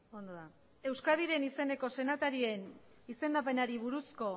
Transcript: ondo da euskadiren izeneko senatarien izendapenari buruzko